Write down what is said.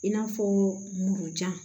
I n'a fɔ muru jan